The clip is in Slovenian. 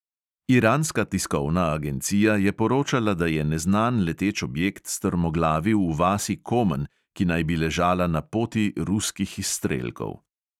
Iranska tiskovna agencija je poročala, da je neznan leteč objekt strmoglavil v vasi komen, ki naj bi ležala na poti ruskih izstrelkov.